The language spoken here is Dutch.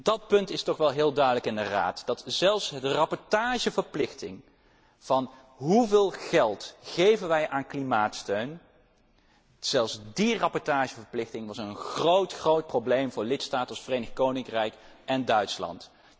Dat punt is toch wel heel duidelijk in de Raad, dat zelfs de rapportageverplichting over 'hoeveel geld geven wij aan klimaatsteun', zelfs die rapportageverplichting een groot, groot probleem was voor lidstaten als het Verenigd Koninkrijk en Duitsland.